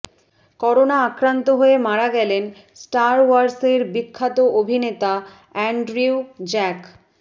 corona আক্রান্ত হয়ে মারা গেলেন স্টার ওয়ারসের বিখ্যাত অভিনেতা অ্যানড্রিউ জ্যাক